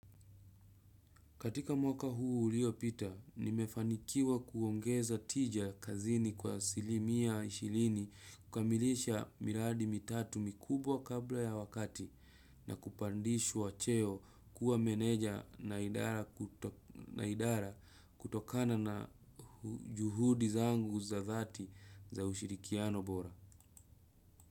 Katika mwaka huu uliopita nimefanikiwa kuongeza tija kazini kwa asili mia ishirini kukamalisha miradi mitatu mikubwa kabla ya wakati na kupandishwa cheo kuwa meneja na idara ku na idara kutokana na juhudi zangu za dhati za ushirikiano bora.